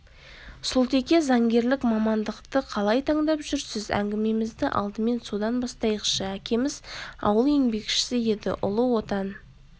сұлтеке заңгерлік мамандықты қалай таңдап жүрсіз әңгімемізді алдымен содан бастайықшы әкеміз ауыл еңбекшісі еді ұлы отан